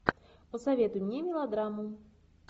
посоветуй мне мелодраму